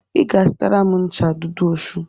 Ị ga-azụtara m ncha Dudu Osun